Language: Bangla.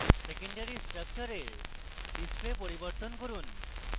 secondary স্ট্রাকচারের display পরিবর্তন করুন